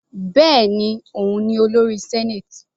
Bẹ́ẹ̀ni, òun ni olórí senate.